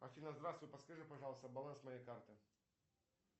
афина здравствуй подскажи пожалуйста баланс моей карты